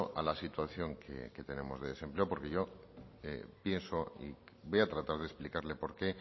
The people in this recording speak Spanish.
a la situación que tenemos de desempleo porque yo pienso y voy a tratar de explicarle por qué